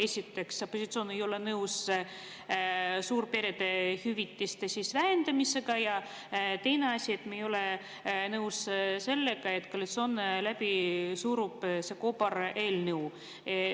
Esiteks, opositsioon ei ole nõus suurperede hüvitiste vähendamisega, ja teine asi, me ei ole nõus sellega, et koalitsioon surub läbi selle kobareelnõu.